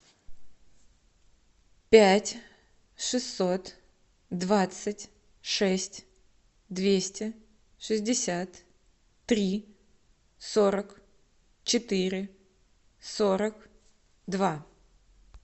пять шестьсот двадцать шесть двести шестьдесят три сорок четыре сорок два